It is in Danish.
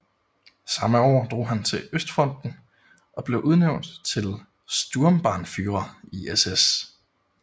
Samme år drog han til østfronten og blev udnævnt til Sturmbannführer i SS